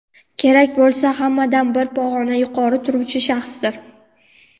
kerak bo‘lsa hammadan bir pog‘ona yuqori turuvchi shaxsdir.